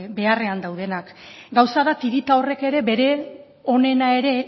beharrean daudenak gauza da tirita horrek ere bere onena ere